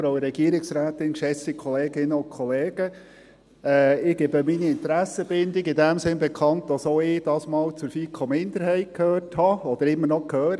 Ich gebe meine Interessenbindung in dem Sinne bekannt, dass auch ich diesmal zur FiKo-Minderheit gehört habe oder immer noch gehöre.